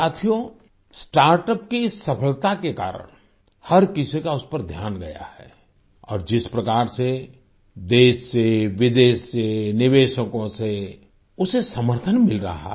साथियो स्टार्टअप की सफलता के कारण हर किसी का उस पर ध्यान गया है और जिस प्रकार से देश से विदेश से निवेशकों से उसे समर्थन मिल रहा है